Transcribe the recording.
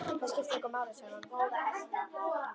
Það skiptir engu máli, sagði hún.